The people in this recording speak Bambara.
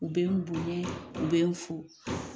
U bɛ bonyɛ u bɛ n fo.